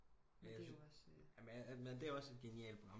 Men det er også et genialt program